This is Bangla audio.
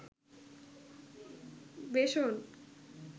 বেসন